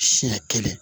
Siɲɛ kelen